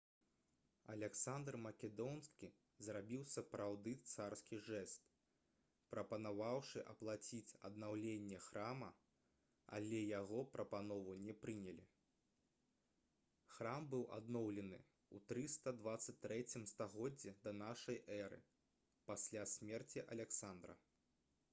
аляксандр македонскі зрабіў сапраўды царскі жэст прапанаваўшы аплаціць аднаўленне храма але яго прапанову не прынялі храм быў адноўлены ў 323 стагоддзі да нашай эры пасля смерці аляксандра